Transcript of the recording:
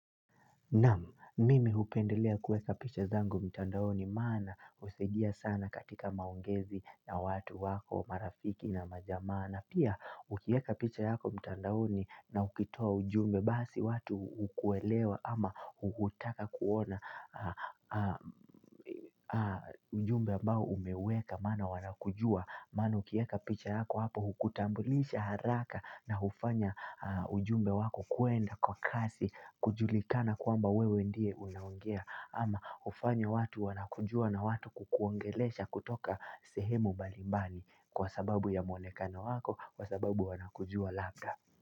Namu, mimi upendelea kueka picha zangu mtandaoni, mana usigia sana katika maungezi na watu wako, marafiki na majamaa, n pia ukieka picha yako mtandaoni na ukitoa ujumbe, basi watu ukuelewa ama uhutaka kuona ujumbe ambao umeweka, maana wana kujua, Manu kieka picha yako hapo hukutambulisha haraka na ufanya ujumbe wako kuenda kwa kasi kujulikana kuamba wewe ndiye unawangea ama ufanya watu wanakujua na watu kukuongelesha kutoka sehemu bali mbali kwa sababu ya muonekana wako kwa sababu wanakujua labda.